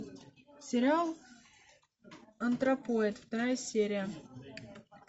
сериал антропоид вторая серия